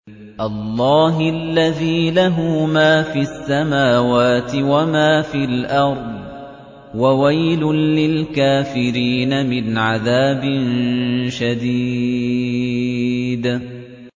اللَّهِ الَّذِي لَهُ مَا فِي السَّمَاوَاتِ وَمَا فِي الْأَرْضِ ۗ وَوَيْلٌ لِّلْكَافِرِينَ مِنْ عَذَابٍ شَدِيدٍ